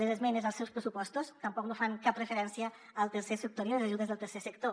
les esmenes als seus pressupostos tampoc no fan cap referència al tercer sector i a les ajudes del tercer sector